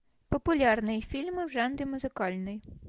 популярные фильмы в жанре музыкальный